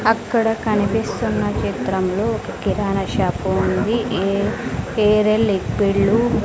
అక్కడ కనిపిస్తున్న చిత్రంలో ఒక కిరాణా షాపు ఉంది ఏ ఏరెల్ లిక్విడ్ .